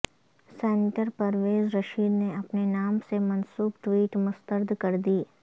senator Pervaiz Rashid نے اپنے نام سے منسوب ٹویٹ مسترد کر دی